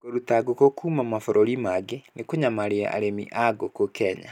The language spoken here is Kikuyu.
Kũruta ngũkũ kuuma mabũrũri mangĩ kũnyamaria arĩmi a ngũkũ Kenya.